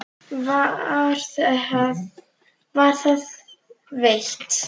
Var það veitt.